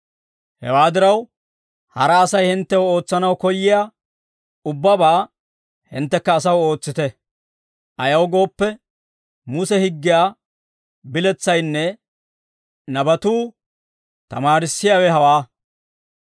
«Hewaa diraw, hara Asay hinttew ootsanaw koyyiyaa ubbabaa hinttekka asaw ootsite; ayaw gooppe, Muse higgiyaa biletsaynne nabatuu tamaarissiyaawe hawaa.